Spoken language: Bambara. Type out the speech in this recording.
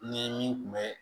Ni min kun bɛ